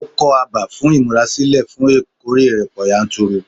Ó kọ́ abà fún ìmúrasílẹ̀ fún ìkórè ọ̀pọ̀ yanturu.